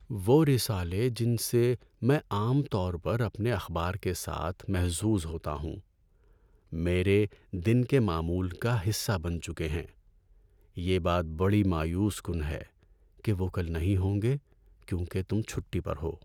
وہ رسالے جن سے میں عام طور پر اپنے اخبار کے ساتھ محظوظ ہوتا ہوں، میرے دن کے معمول کا حصہ بن چکے ہیں۔ یہ بات بڑی مایوس کن ہے کہ وہ کل نہیں ہوں گے کیونکہ تم چھٹی پر ہو۔